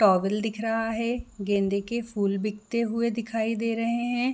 Towel दिख रहा है गेंदे के फूल बिकते हुए दिखाई दे रहै है।